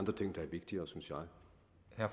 er